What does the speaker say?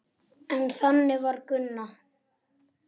En þannig var Gunna.